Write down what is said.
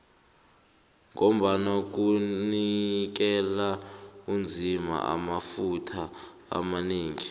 ngombana kunikela umzima amafutha amanengi